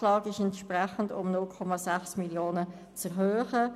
Der VA wäre entsprechend um 0,6 Mio. Franken zu erhöhen.